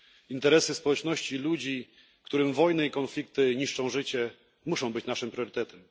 Interesy społeczności, ludzi, którym wojny i konflikty niszczą życie, muszą być naszym priorytetem.